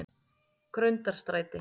Grundarstræti